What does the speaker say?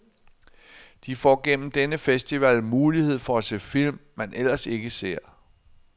De får gennem denne festival mulighed for at se film, man ellers ikke ser.